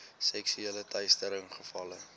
seksuele teistering gevalle